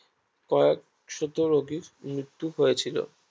কয়েক শত রোগীর মৃত্যু হয়েছিল